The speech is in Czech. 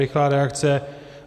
Rychlá reakce.